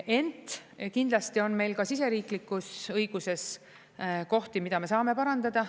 Ent kindlasti on meil ka siseriiklikus õiguses kohti, mida me saame parandada.